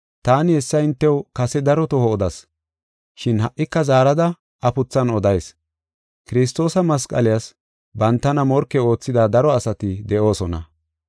Taani hessa hintew kase daro toho odas, shin ha77ika zaarada afuthan odayis. Kiristoosa masqaliyas bantana morke oothida daro asati de7oosona.